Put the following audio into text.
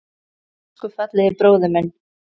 Elsku fallegi bróðir minn.